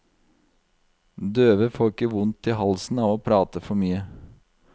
Døve får ikke vondt i halsen av å prate for mye.